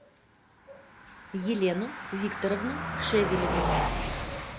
елену викторовну шевелеву